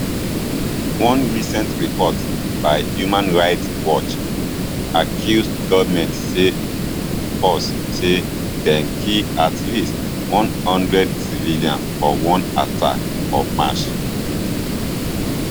one recent report by human rights watch accuse goment forces say dem kill at least one hundred civilians for one attack for march